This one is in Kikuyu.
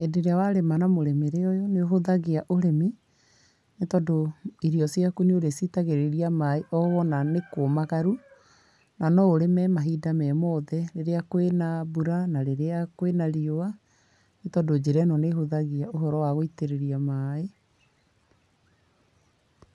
Hĩndĩ ĩrĩa warĩma na mũrĩmĩre ũyũ, nĩ ũhũthagia ũrĩmi, nĩ tondũ irio ciaku nĩ ũrĩ ciitagĩrĩria maaĩ, o wona nĩ kũũmagaru, na no ũrĩme mahinda me mothe, rĩrĩa kwĩna mbura na rĩrĩa kwĩna rĩũa, nĩ tondũ njĩra ĩno nĩ ĩhũthagia ũhoro wa gũitĩrĩria maaĩ.